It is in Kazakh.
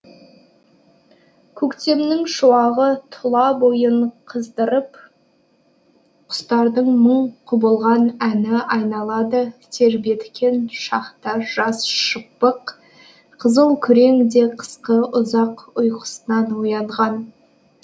көктемнің шуағы тұла бойын қыздырып құстардың мың құбылған әні айналады тербеткен шақта жас шыбық қызылкүрең де қысқы ұзақ ұйқысынан оянған